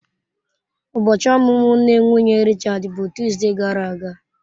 Ụbọchi ọmụmụ nne nwunye Richards bụ Tuzdee gara aga.